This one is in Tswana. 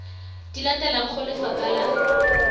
di latelang go lefapha la